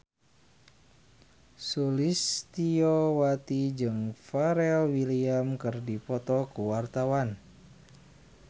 Sulistyowati jeung Pharrell Williams keur dipoto ku wartawan